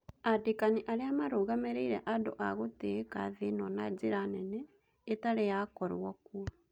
"Andĩkani arĩa marũgamĩrĩire andũ a gũtĩĩka thĩĩno na njĩra nene ĩtarĩ yakorwo kuo.